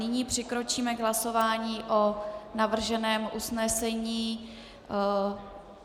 Nyní přikročíme k hlasování o navrženém usnesení.